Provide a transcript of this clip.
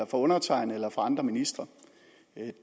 fra undertegnede eller fra andre ministre